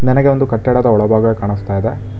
ನನಗೆ ಒಂದು ಕಟ್ಟಡದ ಒಳಭಾಗ ಕಾಣುಸ್ತಾ ಇದೆ.